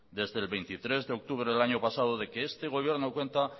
desde el veintitrés de octubre del año pasado de que este gobierno cuenta